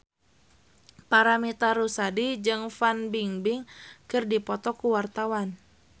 Paramitha Rusady jeung Fan Bingbing keur dipoto ku wartawan